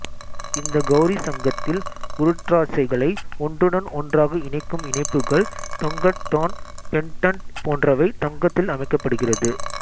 இந்த கௌரிசங்கத்தில் உருத்திராட்சங்களை ஒன்றுடன் ஒன்றாக இணைக்கும் இணைப்புகள் தொங்கட்டான் பெண்டன்ட் போன்றவை தங்கத்தில் அமைக்கப்படுகிறது